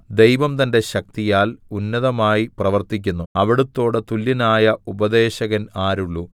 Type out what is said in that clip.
ദൈവം തന്റെ ശക്തിയാൽ ഉന്നതമായി പ്രവർത്തിക്കുന്നു അവിടുത്തോട് തുല്യനായ ഉപദേശകൻ ആരുള്ളു